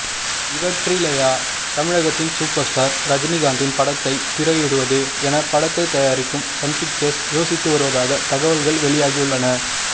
இவற்றிலயா தமிழகத்தின் super star ரஜினிகாந்தின் படத்தை திரையிடுவது என படத்தை தயாரிக்கும் சன்பிக்சர்ஸ் யோசித்து வருவதாக தகவல்கள் வெளியாகியுள்ளன